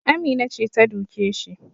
Amina ce ta duke shi